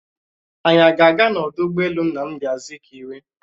Anyị a ga-aga n'ọdụ ụgbọelu Nnamdi Azikiwe?